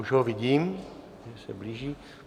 Už ho vidím, už se blíží.